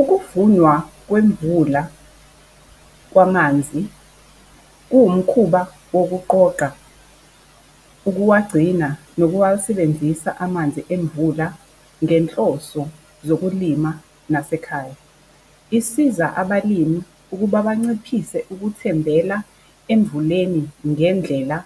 Ukuvunwa kwemvula kwamanzi, kuwumkhuba wokuqoqa, ukuwagcina nokuwasebenzisa amanzi emvula ngenhloso yokulima, nasekhaya. Isiza abalimi ukuba banciphise ukuthembela emvuleni ngendlela